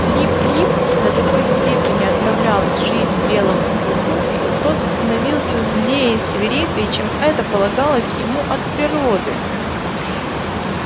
лип лип до такой степени отравлял жизнь белому клыку что тот становился злее и свирепее чем это полагалось ему от природы